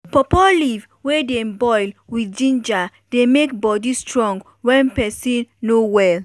pawpaw leaf wey dem boil with ginger dey make body strong wen peson no well.